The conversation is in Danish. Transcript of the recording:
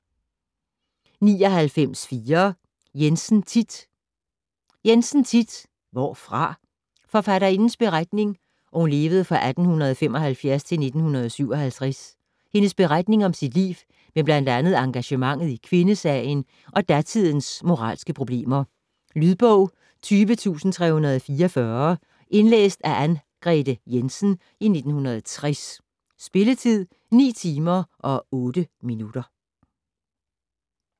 99.4 Jensen, Thit Jensen, Thit: Hvorfra? Forfatterindens (1875-1957) beretning om sit liv med bl.a. engagementet i kvindesagen og datidens moralske problemer. Lydbog 20344 Indlæst af Anngrete Jensen, 1960. Spilletid: 9 timer, 8 minutter.